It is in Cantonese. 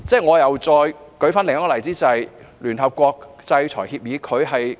我再舉另一個例子，便是聯合國的制裁協議。